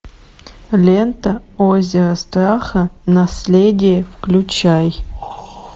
лента озеро страха наследие включай